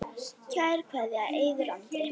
Kær kveðja, Eiður Andri.